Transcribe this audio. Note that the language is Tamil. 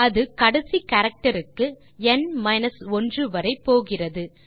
அது கடைசி கேரக்டர் க்கு வரை போகிறது